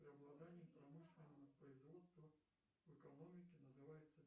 преобладание промышленного производства в экономике называется